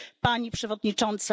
Pani Przewodnicząca!